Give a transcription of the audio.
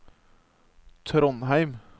Trondheim